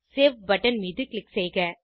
save button மீது click செய்க